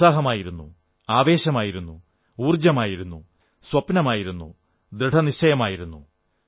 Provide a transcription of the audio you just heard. ഉത്സാഹമായിരുന്നു ആവേശമായിരുന്നു ഊർജ്ജമായിരുന്നു സ്വപ്നമായിരുന്നു ദൃഢനിശ്ചയമായിരുന്നു